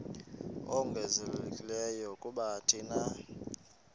ongezelelekileyo kuba thina